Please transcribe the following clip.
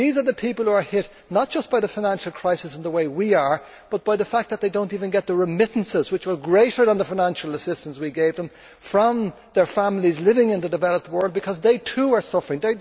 These are people who are hit not just by the financial crisis, in the way we are, but by the fact that they do not even get the remittances which were greater than the financial assistance we gave them from their families living in the developed world because they, too, are suffering.